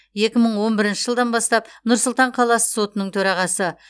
екі мың он бірінші жылдан бастап нұр сұлтан қаласы сотының төрағасы